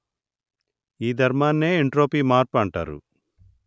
ఈ ధర్మన్నే ఎంట్రోపీ మర్పు అంటారు